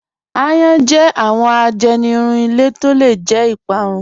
Àyàn jẹ́ awọn àjẹnìrún ilẹ̀ tó lẹ̀ jẹ́ ìpárún.